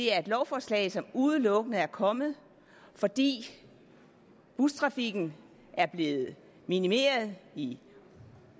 er et lovforslag som udelukkende er kommet fordi bustrafikken er blevet minimeret i